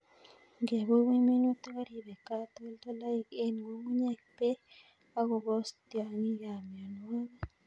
Ingebubuny minutik koribe katoltolik en ng'ung'unyek, bek ak kobos tiong'ik ak mionwokik.